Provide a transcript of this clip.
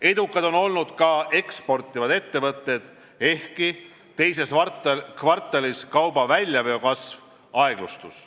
Edukad on olnud ka eksportivad ettevõtted, ehkki teises kvartalis kauba väljaveo kasv aeglustus.